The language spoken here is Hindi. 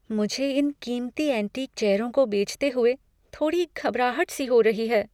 मुझे इन कीमती एंटीक चेयरों को बेचते हुए थोड़ी घबराहट सी हो रही है।